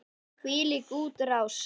Þvílík útrás!